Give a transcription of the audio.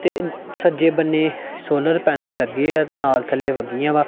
ਤੇ ਸੱਜੇ ਬੰਨ੍ਹੇ ਸੋਲਰ ਪੈਨਲ ਲੱਗਿਆ ਤੇ ਨਾਲ ਥੱਲੇ ਵੱਗੀਆਂ ਵਾਂ।